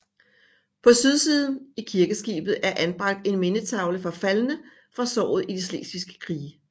På sydsiden i kirkeskibet er anbragt en mindetavle for faldne fra sognet i de Slesviske Krige